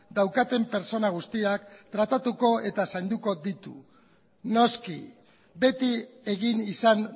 daukaten pertsona guztiak tratatuko eta zainduko ditu noski beti egin izan